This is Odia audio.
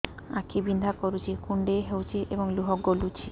ଆଖି ବିନ୍ଧା କରୁଛି କୁଣ୍ଡେଇ ହେଉଛି ଏବଂ ଲୁହ ଗଳୁଛି